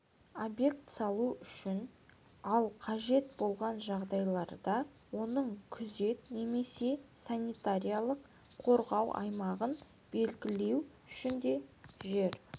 объект салу үшін ал қажет болған жағдайларда оның күзет немесе санитариялық-қорғау аймағын белгілеу үшін де жер